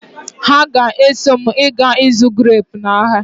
Ha ga-eso m ịga ịzụ greepu n'ahia.